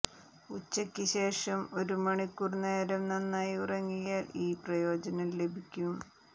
ഉച്ചയ്ക്ക് ഏകദേശം ഒരു മണിക്കൂർ നേരം നന്നായി ഉറങ്ങിയാൽ ഈ പ്രയോജനം ലഭിക്കും